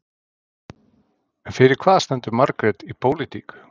En fyrir hvað stendur Margrét í pólitík?